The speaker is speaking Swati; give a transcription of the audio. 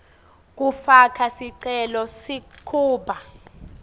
kufaka sicelo sekuba